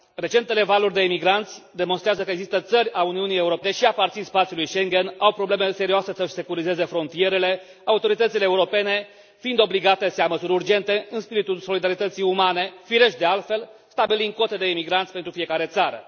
Recentele valuri de migranți demonstrează că există țări ale Uniunii Europene care, deși aparțin spațiului Schengen au probleme serioase să și securizeze frontierele, autoritățile europene fiind obligate să ia măsuri urgente în spiritul solidarității umane, firești, de altfel, stabilind cote de migranți pentru fiecare țară.